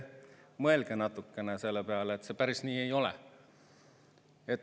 Mõelge natukene selle peale, see päris nii ei ole.